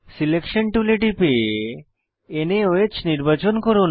selection টুলে টিপে নাওহ নির্বাচন করুন